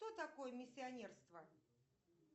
кто такой миссионерство